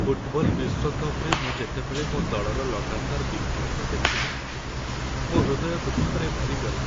Football ବିଶ୍ୱକପରେ ମୁଁ ଯେତେବେଳେ ମୋ ଦଳର ଲଗାତାର ବିଫଳତା ଦେଖିଲି, ମୋ ହୃଦୟ ଦୁଃଖରେ ଭରିଗଲା।